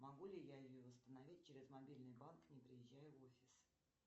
могу ли я ее восстановить через мобильный банк не приезжая в офис